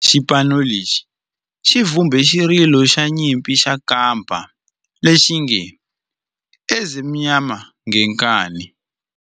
Xipano lexi xi vumbe xirilo xa nyimpi xa kampa lexi nge 'Ezimnyama Ngenkani'.